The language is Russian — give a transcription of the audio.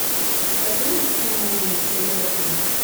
покажи мультфильм луи серия три